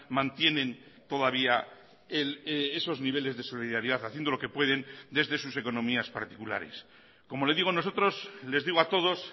mantienen todavía esos niveles de solidaridad haciendo lo que pueden desde sus economías particulares como le digo nosotros les digo a todos